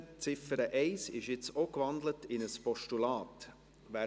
Die Ziffer 1 ist jetzt auch in ein Postulat gewandelt.